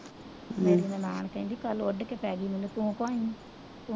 ਮੇਰੀ ਨਨਾਣ ਮੈਨੂੰ ਕੱਲ ਉੱਡ ਕੇ ਪੈ ਗਈ ਕਿਉਂ ਭਾਈ